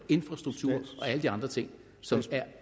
infrastrukturen og alle de andre ting som er